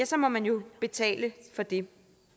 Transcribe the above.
så må man jo betale for det